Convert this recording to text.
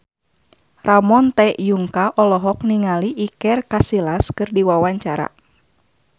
Ramon T. Yungka olohok ningali Iker Casillas keur diwawancara